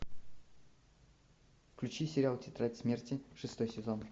включи сериал тетрадь смерти шестой сезон